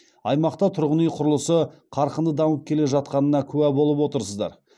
аймақта тұрғын үй құрылысы қарқынды дамып келе жатқанына куә болып отырсыздар